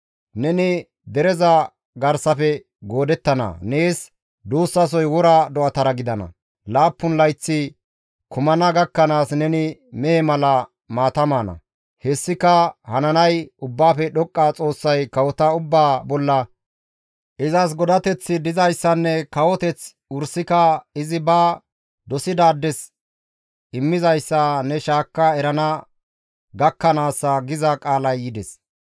Neni dereza garsafe goodettana; nees duussasoy wora do7atara gidana; laappun layththi kumana gakkanaas neni mehe mala maata maana; hessika hananay Ubbaafe Dhoqqa Xoossay kawota ubbaa bolla izas godateththi dizayssanne kawoteththi wursika izi ba dosidaades immizayssa ne shaakka erana gakkanaassa» giza qaalay yides.